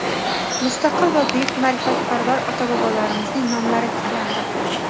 mustaqil va buyuk ma’rifatparvar ota-bobolarimizning nomlari tiklandi.